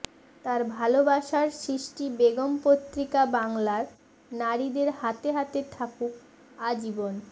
তার ভালোবাসার সৃষ্টি বেগম পত্রিকা বাংলার নারীদের হাতে হাতে থাকুক আজীবন